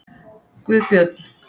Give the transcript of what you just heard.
Guðbjörn